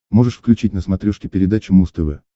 можешь включить на смотрешке передачу муз тв